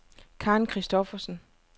Karen Kristoffersen